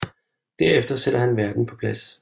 Derefter sætter han verden på plads